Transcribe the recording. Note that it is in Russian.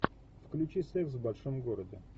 включи секс в большом городе